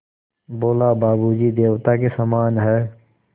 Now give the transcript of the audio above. बोला बाबू जी देवता के समान हैं